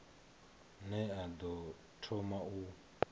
ne a ḓo thoma u